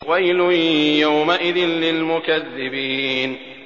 وَيْلٌ يَوْمَئِذٍ لِّلْمُكَذِّبِينَ